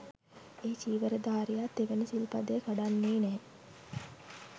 ඒ චීවරධාරියා තෙවැනි සිල්පදය කඩන්නේ නැහැ